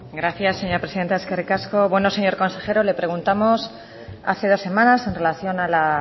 gracias señora presidenta eskerrik asko bueno señor consejero le preguntamos hace dos semanas en relación a la